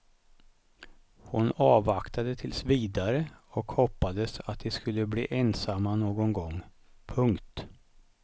Hon avvaktade tills vidare och hoppades att de skulle bli ensamma någon gång. punkt